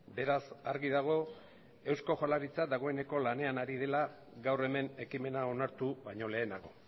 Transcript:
beraz argi dago eusko jaurlaritza dagoeneko lanean ari dela gaur hemen ekimena onartu baino lehenago